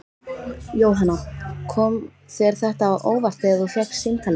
Jóhanna: Kom þér þetta á óvart þegar þú fékkst símtalið?